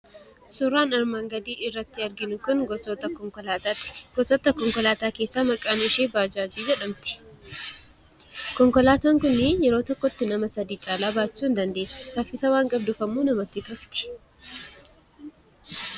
Suuraan armaan gadiirratti argamu gosoota konkolaataa keessaa maqaan ishee baajaajii jedhamti. Konkolaataan kun yeroo tokkotti nama sadii caalaa baachuu hndandeessu. Saffisa waan qabduuf immoo namatti tolti.